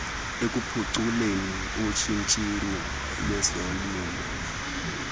ekuphuculeni ushishino lwezolimo